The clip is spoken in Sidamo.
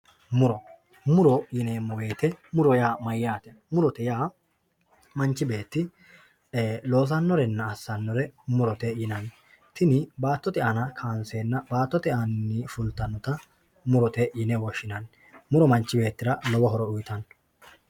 muro muro yineemo woyiite muro yaa mayaate murote yaa manchi beetti loosannorenna assanore murote yinanni tini baattote aana kaanseena baattote aaninni fultannota murote yine woshshinanni muro manchi bettira lowo horo uyiitanno